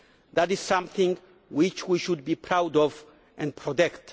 That is something which we should be proud of and protect.